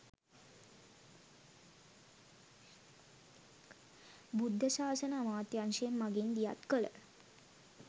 බුද්ධ ශාසන අමාත්‍යංශය මඟින් දියත් කළ